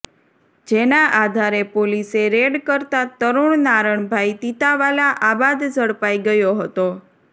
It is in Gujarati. જેના આધારે પોલીસે રેડ કરતાં તરુણ નારણભાઈ તીતાવાલા આબાદ ઝડપાઈ ગયો હતો